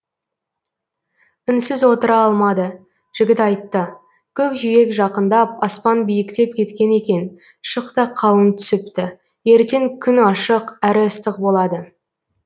үнсіз отыра алмады жігіт айтты көкжиек жақындап аспан биіктеп кеткен екен шық та қалың түсіпті ертең күн ашық әрі ыстық болады